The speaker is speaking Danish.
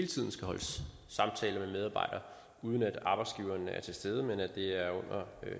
tiden skal holdes samtaler med medarbejdere uden at arbejdsgiveren er til stede men at det er under